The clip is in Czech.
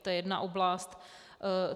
To je jedna oblast.